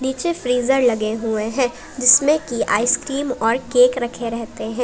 नीचे फ्रीजर लगे हुए हैं जिसमें की आइसक्रीम और केक रखे रहते हैं।